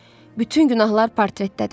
Bütün günahlar portretdədir.